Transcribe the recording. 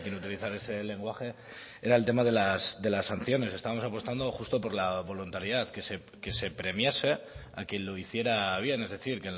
utilizar ese lenguaje era el tema de las sanciones estábamos apostando justo por la voluntariedad que se premiase a quien lo hiciera bien es decir